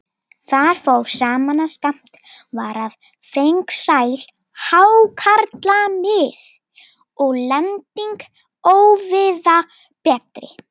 Þar fór saman, að skammt var á fengsæl hákarlamið og lending óvíða betri.